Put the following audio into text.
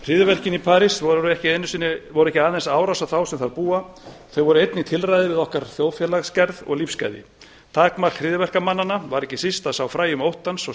hryðjuverkin í parís voru ekki aðeins árás á þá sem þar búa þau voru einnig tilræði við okkar þjóðfélagsgerð og lífsgæði takmark hryðjuverkamannanna var ekki síst að sá fræjum óttans og